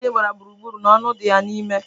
Ebe aji gbara gburu gburu, na onu di ya nime